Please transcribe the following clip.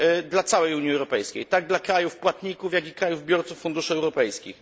dla całej Unii Europejskiej, tak dla krajów płatników, jak dla krajów biorców funduszy europejskich.